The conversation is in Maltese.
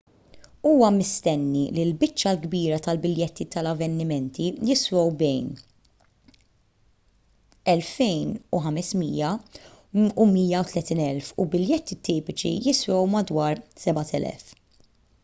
huwa mistenni li l-biċċa l-kbira tal-biljetti tal-avvenimenti jiswew bejn ¥2,500 u ¥130,000 u biljetti tipiċi jiswew madwar ¥7,000